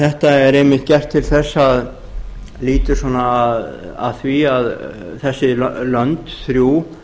þetta er einmitt gert til þess að lýtur að því að þessi lönd þrjú